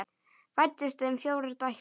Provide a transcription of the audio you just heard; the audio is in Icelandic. Fæddust þeim fjórar dætur.